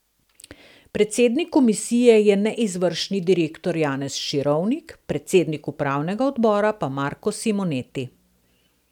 Predsednik komisije je neizvršni direktor Janez Širovnik, predsednik upravnega odbora pa Marko Simoneti.